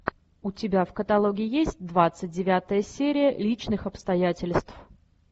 у тебя в каталоге есть двадцать девятая серия личных обстоятельств